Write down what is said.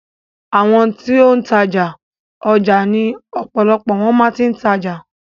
Àwọn ti ó ń tajà, ọjà ni ọ̀pọ̀lọpọ̀ wọn ti máa ń tajà.